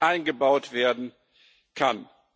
eingebaut werden kann?